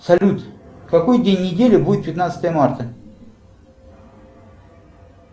салют какой день недели будет пятнадцатое марта